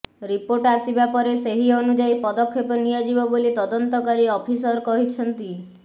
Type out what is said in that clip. report ଆସିବା ପରେ ସେହି ଅନୁଯାୟୀ ପଦକ୍ଷେପ ନିଆଯିବ ବୋଲି ତଦନ୍ତକାରୀ ଅଫିସର କହିଛନ୍ତି